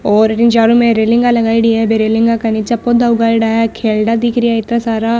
और इंक चारो मेर रेलिंगां लगायेडी है बे रेलिंगां के निचे पौधा उगायेड़ा है खेलड़ा दिख रहा इत्ता सारा।